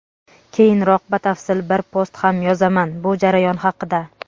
Keyinroq batafsil bir post ham yozaman bu jarayon haqida.